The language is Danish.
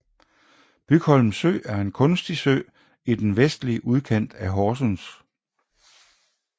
Bygholm Sø er en kunstig sø i den vestlige udkant af Horsens